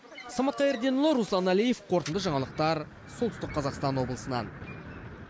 самат қайырденұлы руслан әлиев қорытынды жаңалықтар солтүстік қазақстан облысынан